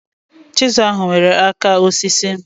Chịsịlụ ahụ nwere áká osisi